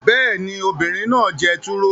Bẹ́ẹ̀ ni, obìnrin náà jẹ turo